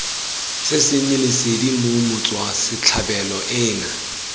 sesenyi lesedi mme motswasetlhabelo ena